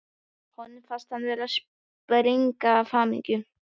Honum fannst hann vera að springa af hamingju.